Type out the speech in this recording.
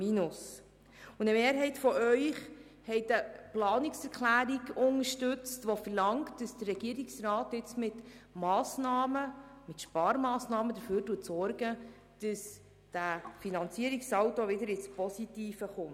Eine Mehrheit von Ihnen hat eine Planungserklärung unterstützt, die verlangt, dass der Regierungsrat jetzt mit Massnahmen – mit Sparmassnahmen – dafür sorgt, dass der Finanzierungssaldo wieder positiv wird.